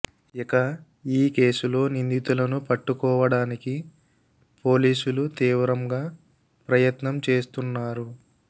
ఇక ఈ కేసులో నిందితులను పట్టుకోవడానికి పోలీసులు తీవ్రంగా ప్రయత్నం చేస్తున్నారు